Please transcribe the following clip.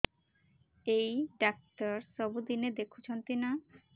ଏଇ ଡ଼ାକ୍ତର ସବୁଦିନେ ଦେଖୁଛନ୍ତି ନା